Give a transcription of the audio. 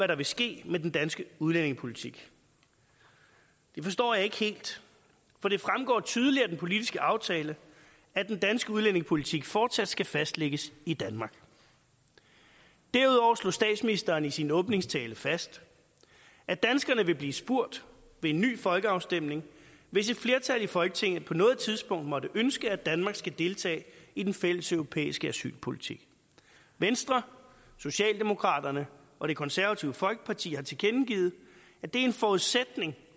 der vil ske med den danske udlændingepolitik det forstår jeg ikke helt for det fremgår tydeligt af den politiske aftale at den danske udlændingepolitik fortsat skal fastlægges i danmark derudover slog statsministeren i sin åbningstale fast at danskerne vil blive spurgt ved en ny folkeafstemning hvis et flertal i folketinget på noget tidspunkt måtte ønske at danmark skal deltage i den fælles europæiske asylpolitik venstre socialdemokraterne og det konservative folkeparti har tilkendegivet at det er en forudsætning